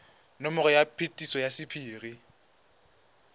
nomoro ya phetiso ya sephiri